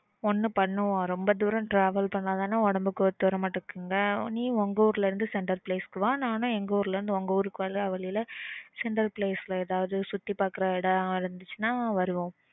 ஒன்னு பண்ணுவோம் ரொம்ப தூரம் travel பண்ணா தான உடம்புக்கு ஒத்து வரமாட்டுது நீ உங்க ஊருல இருந்து ஏதாவது சுத்தி பாக்குற place இருந்துச்சுன்னா வருவோம்